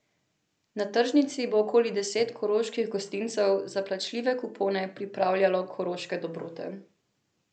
Na tržnici bo okoli deset koroških gostincev za plačljive kupone pripravljajo koroške dobrote.